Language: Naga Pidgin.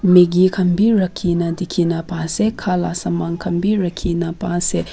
maggie khan bi rakhi na dikhina pa ase khala saman khan bi rakhina paase.